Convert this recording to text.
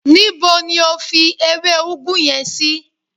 Níbo ni o fi ewé ugwu yen sí?